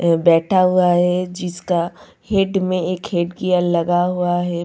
ये बैठा हुआ है जिसका हेड मी हेड गिअर लगा हुआ है।